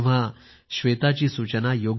श्वेताची सूचना योग्यच आहे